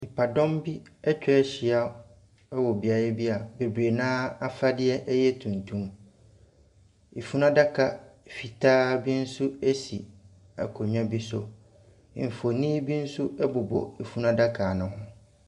Nnipadɔm bi atwa ahyia wɔ beaeɛ bi a bebree no ara afadeɛ yɛ tuntum. Afunu daaka fitaa bi nso si akonnwa bi so. Mfonin bi nso bobɔ afunu adaka ne ho.